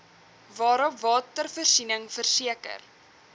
waarop watervoorsiening verseker